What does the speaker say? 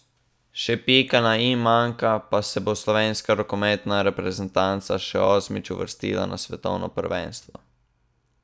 Še pika na i manjka, pa se bo slovenska rokometna reprezentanca še osmič uvrstila na svetovno prvenstvo.